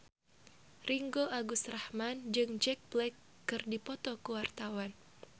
Ringgo Agus Rahman jeung Jack Black keur dipoto ku wartawan